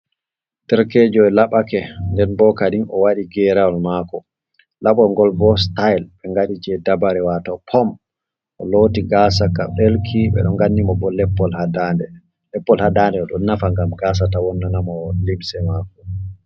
Derkejo o laɓake den bo kadin o waɗi gerawol mako labol gol bo staile be ngaɗi je dabare wato pom, o loti gasaka delki ɓe ɗo nganni mo bo lepol ha dande lepol ɗon nafa gam gasa ta wonna'na mo limse mako.